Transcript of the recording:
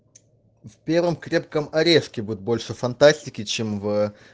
в первом крепком орешке будет больше фантастики чем в